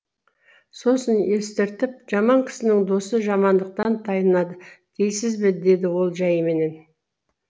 сосын естіртіп жаман кісінің досы жамандықтан тайынады дейсіз бе деді ол жәйіменен